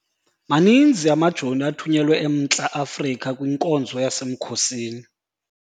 Maninzi amajoni athunyelwe eMntla-Afrika kwinkonzo yasemkhosini.